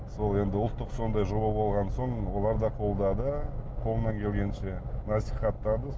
сол енді ұлттық сондай жоба болған соң олар да қолдады қолынан келгенше насихаттады